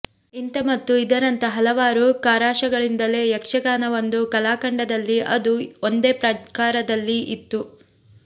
ಇಂಥ ಮತ್ತು ಇದರಂಥ ಹಲವಾರು ಕಾರಷಗಳಿಂದಲೇ ಯಕ್ಷಗಾನ ಒಂದು ಕಾಲಖಂಡದಲ್ಲಿ ಅದು ಒಂದೇ ಪ್ರಕಾರದಲ್ಲಿ ಇತ್ತು